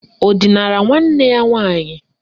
Ọ dinara nwanne ya nwaanyị?